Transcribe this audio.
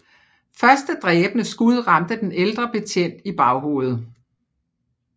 Første dræbende skud ramte den ældre betjent i baghovedet